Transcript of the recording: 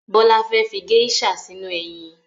Bọ́lá fẹ́ fi geisha sínú eyin